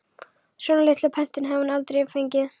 Svona litla pöntun hafði hún aldrei fengið.